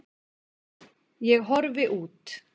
Ég horfi út.